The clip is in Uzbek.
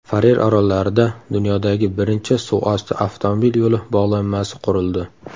Farer orollarida dunyodagi birinchi suvosti avtomobil yo‘li bog‘lanmasi qurildi.